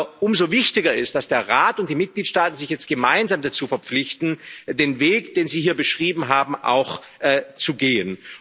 Aber umso wichtiger ist, dass der Rat und die Mitgliedstaaten sich jetzt gemeinsam dazu verpflichten, den Weg, den Sie hier beschrieben haben, auch zu gehen.